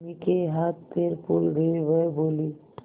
उर्मी के हाथ पैर फूल गए वह बोली